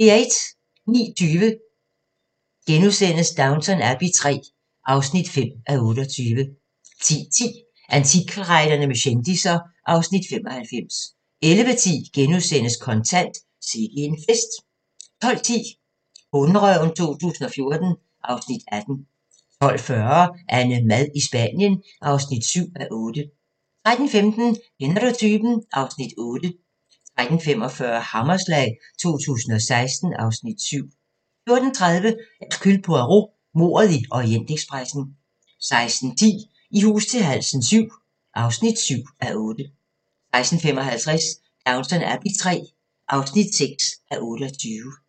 09:20: Downton Abbey III (5:28)* 10:10: Antikkrejlerne med kendisser (Afs. 95) 11:10: Kontant: Sikke en fest * 12:10: Bonderøven 2014 (Afs. 18) 12:40: AnneMad i Spanien (7:8) 13:15: Kender du typen? (Afs. 8) 13:45: Hammerslag 2016 (Afs. 7) 14:30: Hercule Poirot: Mordet i Orientekspressen 16:10: I hus til halsen VII (7:8) 16:55: Downton Abbey III (6:28)